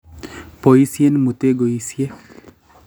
Boisien mutegoishek